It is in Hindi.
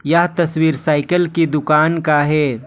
यह तस्वीर साइकल की दुकान का है।